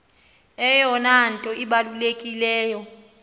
eyona nto ibalulekileyo